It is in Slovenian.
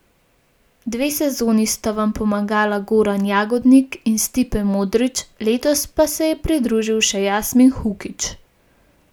Dve sezoni sta vam pomagala Goran Jagodnik in Stipe Modrić, letos se je pridružil še Jasmin Hukić.